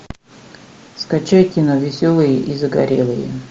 скачай кино веселые и загорелые